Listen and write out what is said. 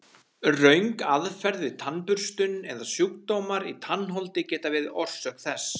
Röng aðferð við tannburstun eða sjúkdómar í tannholdi geta verið orsök þess.